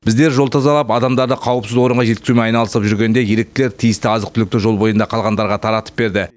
біздер жол тазалап адамдарды қауіпсіз орынға жеткізумен айналысып жүргенде еріктілер тиісті азық түлікті жол бойында қалғандарға таратып берді